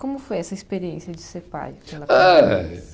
Como foi essa experiência de ser pai? Ah ah